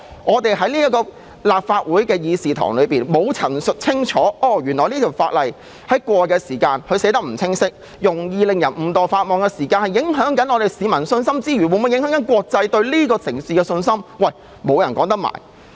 我們要在立法會議事堂陳述清楚，如果法例條文不清晰，容易令人誤墮法網，既會影響市民信心，亦可能影響國際對這個城市的信心。